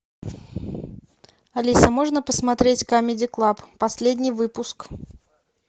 алиса можно посмотреть камеди клаб последний выпуск